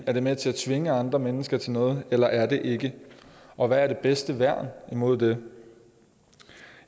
er det med til at tvinge andre mennesker til noget eller er det ikke og hvad er det bedste værn imod det